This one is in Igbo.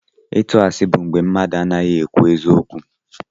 ịsị asi bụ mgbé mmadụ anaghị ekwu eziokwu.